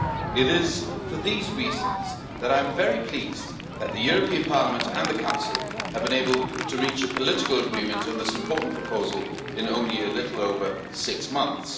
It is for these reasons that I am very pleased that Parliament and the Council have been able to reach a political agreement on this important proposal in only a little over six months.